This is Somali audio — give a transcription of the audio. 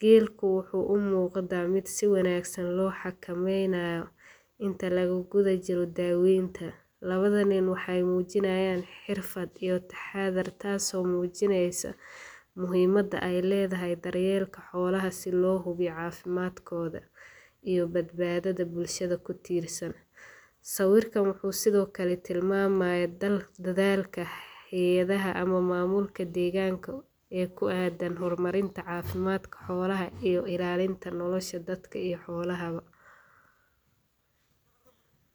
geelka wuxuu umuqda ku si wanagsan loo xakameynaayo inta lagu gudub jiro daawenta, labada nin waxeey mujinaayan xirfad iyo taxadar taas oo mujineyso muhiimada aay ledahay daryeelka xoolaha si loo hubiyo cafimaadkooda, iyo badbaadada bulshada kutiirsan, sawiirkaan wuxuu sido kale tilmaamaha dagaalka haayadaha ama maamulka deeganka ee ku aadan hor marinta cafimaadka xoolaha iyo ilaalinta nolosha dadka iyo xoolaha ba.